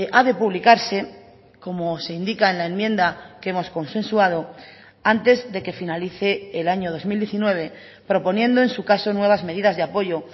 ha de publicarse como se indica en la enmienda que hemos consensuado antes de que finalice el año dos mil diecinueve proponiendo en su caso nuevas medidas de apoyo